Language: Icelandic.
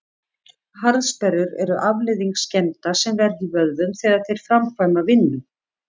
Harðsperrur eru afleiðing skemmda sem verða í vöðvum þegar þeir framkvæma vinnu.